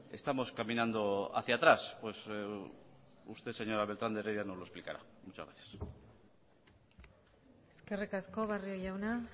pues estamos caminando hacia atrás pues usted señora beltrán de heredia nos lo explicará eskerrik asko barrio jauna